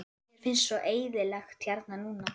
Mér finnst svo eyðilegt hérna núna.